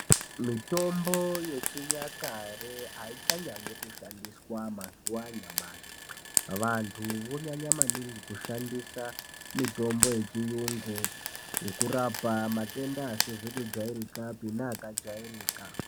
Mitombo yechinyakare aichanyanyi kushandiswa mazuwa anyamashi. Vantu vonyanya maningi kushandisa mitombo yechiyungu yekurapa matenda asizi kujairikapi neakajairika.